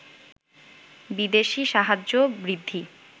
বিদেশি সাহায্য বৃদ্ধি